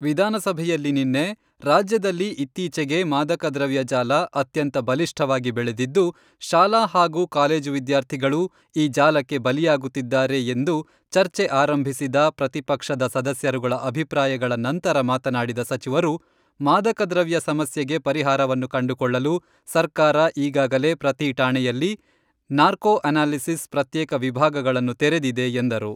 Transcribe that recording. ವಿಧಾನಸಭೆಯಲ್ಲಿ ನಿನ್ನೆ ರಾಜ್ಯದಲ್ಲಿ ಇತ್ತೀಚೆಗೆ ಮಾದಕ ದ್ರವ್ಯ ಜಾಲ ಅತ್ಯಂತ ಬಲಿಷ್ಠವಾಗಿ ಬೆಳೆದಿದ್ದು ಶಾಲಾ ಹಾಗೂ ಕಾಲೇಜು ವಿದ್ಯಾರ್ಥಿಗಳು ಈ ಜಾಲಕ್ಕೆ ಬಲಿಯಾಗುತ್ತಿದ್ದಾರೆ ಎಂದು ಚರ್ಚೆ ಆರಂಭಿಸಿದ ಪ್ರತಿಪಕ್ಷದ ಸದಸ್ಯರುಗಳ ಅಭಿಪ್ರಾಯಗಳ ನಂತರ ಮಾತನಾಡಿದ ಸಚಿವರು, ಮಾದಕ ದ್ರವ್ಯ ಸಮಸ್ಯೆಗೆ ಪರಿಹಾರವನ್ನು ಕಂಡುಕೊಳ್ಳಲು ಸರ್ಕಾರ ಈಗಾಗಲೇ ಪ್ರತಿ ಠಾಣೆಯಲ್ಲಿ ನಾರ್ಕೋ ಅನಾಲಿಸಿಸ್ ಪ್ರತ್ಯೇಕ ವಿಭಾಗಗಳನ್ನು ತೆರೆದಿದೆ ಎಂದರು.